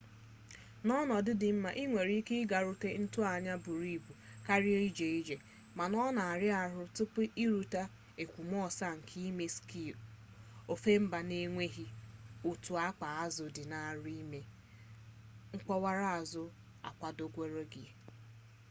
n'ọnọdụ dị mma i nwere ike ịgarute ntoanya buru ibu karịa ịga ije mana ọ na-ara ahụ tupu i rute ekwomọsọ nke ime skii ofe mba n'enweghị otu akpa azụ dị arụ n'ime mkpọwaraụzọ akwadogwere